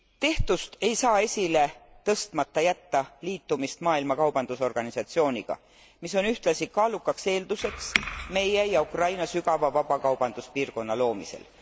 Tehtust ei saa esile tõstmata jätta liitumist Maailma Kaubandusorganisatsiooniga, mis on ühtlasi kaalukaks eelduseks meie ja Ukraina sügava vabakaubanduspiirkonna loomisel.